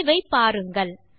விளைவை பாருங்கள்